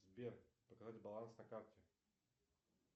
сбер показать баланс на карте